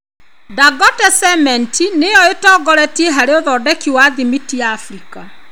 Dangote cement nĩyo ĩtongoretie harĩ ũthondeki wa thimiti Afrika.